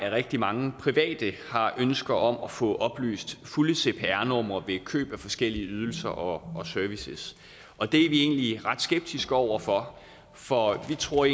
at rigtig mange private har ønsker om at få oplyst det fulde cpr nummer ved køb af forskellige ydelser og services og det er vi egentlig ret skeptiske over for for vi tror